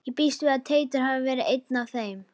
Ég býst við að Teitur hafi verið einn af þeim.